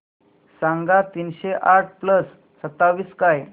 सांगा तीनशे आठ प्लस सत्तावीस काय